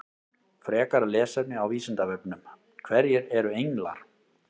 Frekara lesefni á Vísindavefnum: Hverjir eru englar?